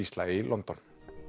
Gísla í London